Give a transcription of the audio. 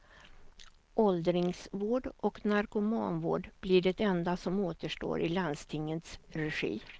Åldringsvård och narkomanvård blir det enda som återstår i landstingets regi.